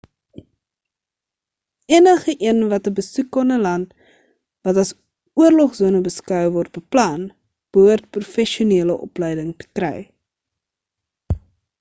enige een wat 'n besoek aan 'n land wat as oorlogsone beskou word beplan behoort professionele opleiding te kry